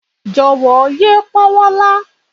Jọ̀wọ́ yé pọ́wọ́ lá